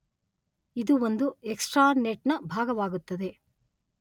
ಇದು ಒಂದು ಎಕ್ಸ್ಟ್ರಾನೆಟ್ ನ ಭಾಗವಾಗುತ್ತದೆ.